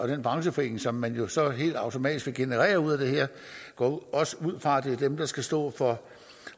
den brancheforening som man jo så helt automatisk vil generere ud af det her jeg går også ud fra at det dem der skal stå for